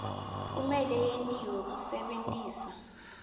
kumele yentiwe kusebentisa